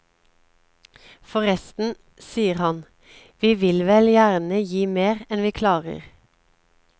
Forresten, sier han, vi vil vel gjerne gi mer enn vi klarer.